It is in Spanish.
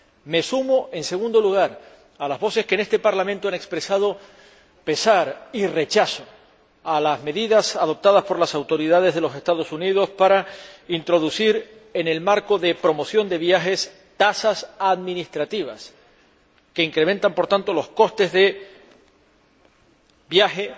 Me sumo, en segundo lugar, a las voces que en este Parlamento han expresado pesar y rechazo a las medidas adoptadas por las autoridades de los Estados Unidos para introducir, en el marco de la promoción de viajes, tasas administrativas que incrementan, por tanto, los costes de viaje